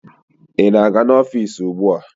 Ị na-aga n'ọfiisi ugbua?